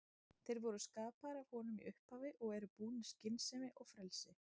Þeir voru skapaðir af honum í upphafi og eru búnir skynsemi og frelsi.